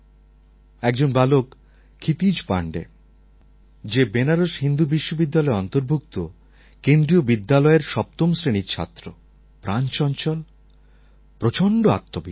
একজন বালক ক্ষিতিজ পাণ্ডে যে বেনারস হিন্দু বিশ্ববিদ্যালয়ে অন্তর্ভুক্ত কেন্দ্রিয় বিদ্যালয়ের সপ্তম শ্রেণির ছাত্র প্রাণচঞ্চল প্রচণ্ড আত্মবিশ্বাসী